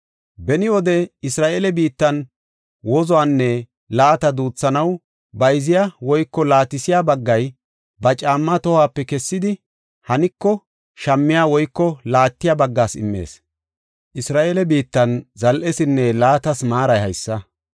Beni wode Isra7eele biittan wozuwanne laata duuthanaw bayziya woyko laatisiya baggay ba caammaa tohuwape kessidi, hanko shammiya woyko laattiya baggaas immees. Isra7eele biittan zal7esinne laatas maaray haysa.